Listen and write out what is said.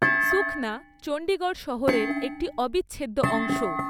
সুখনা চণ্ডীগড় শহরের একটি অবিচ্ছেদ্য অংশ।